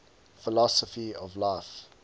philosophy of life